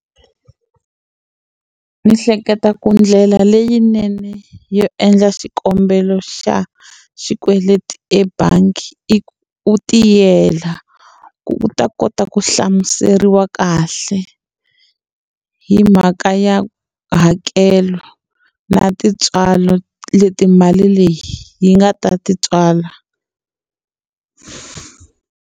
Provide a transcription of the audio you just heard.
Ndzi hleketa ku ndlela leyinene yo endla xikombelo xa xikweleti ebangi i u tiyela u ta kota ku hlamuseriwa kahle hi mhaka ya hakelo na tintswalo leti mali leyi yi nga ta ti tswala.